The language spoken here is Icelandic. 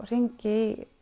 hringi